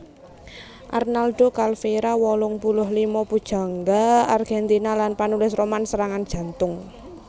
Arnaldo Calveyra wolung puluh lima pujangga Argèntina lan panulis roman serangan jantung